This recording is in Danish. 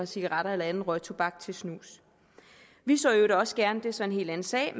cigaretter eller anden røgtobak til snus vi så i øvrigt også gerne det er så en helt anden sag